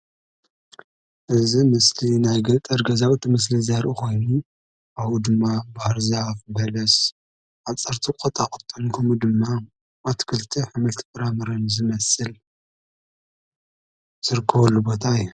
እዚ ምስሊ ናይ ገጠር ገዛውቲ ምስሊ ዘርኢ ኾይኑ ኣብኡ ድማ ባህርዛፍ፣ በለስ ፣ሓፀርቲ ቆጣቁጥን ከምኡ ድማ ኣትክልታጥ ኣሕምልቲ ፍራምረን ዝመስል ዝርከበሉ ቦታ እዩ፡፡